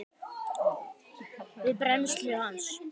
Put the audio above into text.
við brennslu hans.